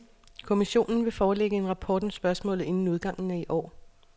Kommissionen vil forelægge en rapport om spørgsmålet inden udgangen af i år.